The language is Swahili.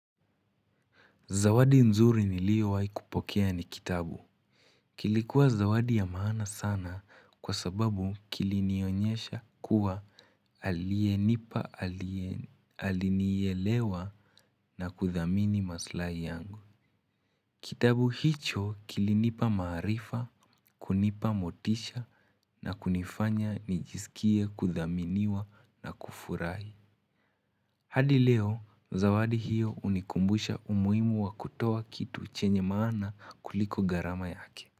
Zawadi nzuri niliyowai kupokea ni kitabu. Kilikuwa zawadi ya maana sana kwa sababu kilinionyesha kuwa aliyenipa alinielewa na kuthamini maslahi yangu. Kitabu hicho kilinipa maarifa, kunipa motisha na kunifanya nijisikie kuthaminiwa na kufurahi. Hadi leo, zawadi hiyo hunikumbusha umuhimu wa kutoa kitu chenye maana kuliko gharama yake.